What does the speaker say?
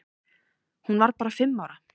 Hún var bara fimm ára.